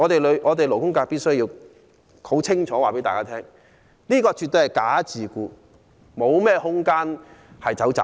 勞工界必須清楚告訴大家，這絕對是"假自僱"，沒有商榷的餘地。